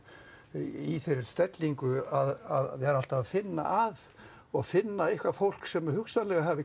í þeirri stellingu að vera alltaf að finna að og finna eitthvað fólk sem hugsanlega hafi